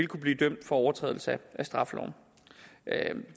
kunne blive dømt for overtrædelse af straffeloven